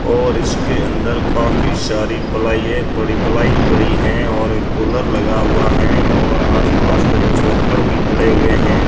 और इसके अंदर काफी सारी पलाएं पड़ी प्लाई पड़ी हैं और एक कूलर लगा हुआ है और आसपास में कुछ लक्कड़ भी पड़े हुए हैं।